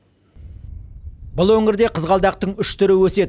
бұл өңірде қызғалдақтың үш түрі өседі